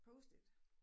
Post it